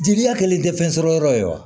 Jeliya kɛlen tɛ fɛn sɔrɔ yɔrɔ ye wa